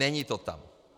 Není to tam.